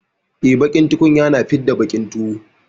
E, baƙin tukunya na fidda baƙin tuwo.